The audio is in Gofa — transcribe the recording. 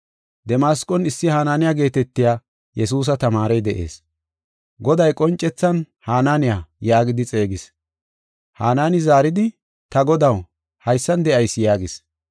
Damasqon issi Hananiya geetetiya Yesuusa tamaarey de7ees. Goday qoncethan, “Hananiya” yaagidi xeegis. Hanaani zaaridi, “Ta Godaw, haysan de7ayis” yaagis.